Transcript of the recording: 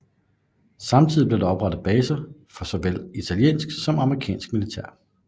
Samtidig blev der oprettet baser for såvel italiensk som amerikansk militær